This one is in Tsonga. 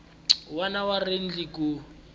wun wana wa riendli ku